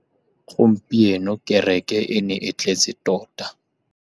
Gompieno kêrêkê e ne e tletse tota.